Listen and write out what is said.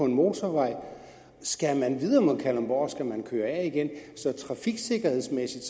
en motorvej skal man videre mod kalundborg skal man køre af igen så trafiksikkerhedsmæssigt